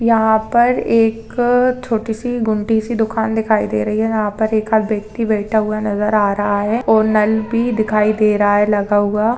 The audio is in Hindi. यहा पर एक छोटी-सीगुमटी सी दुकान दिखाई दे रही है यहा पर एक आध- व्यक्ति बैठा हुआ नज़र आ रहा है और नल भी दिखाई दे रहा है लगा हुआ--